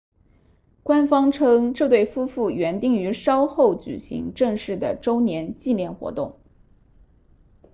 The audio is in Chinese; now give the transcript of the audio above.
官方称这对夫妇原定于稍后举行正式的周年纪念活动